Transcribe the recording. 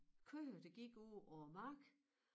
Køer der gik ude på æ mark